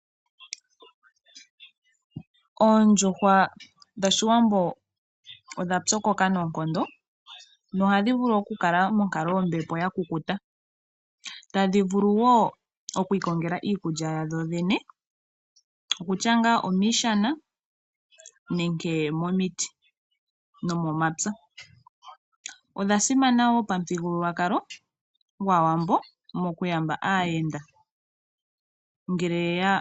Oondjuhwa dhOshiwambo odha pyokoka noonkondo, nohadhi vulu okukala monkalo yombepo ya kukuta. Tadhi vulu wo okwiikongela iikulya yadho dhene, okutya ngaa omiishana nenge momiti nomomapya. Odha simana wo pamuthigululwakalo gwAawambo mokuyamba aayenda ngele ye ya.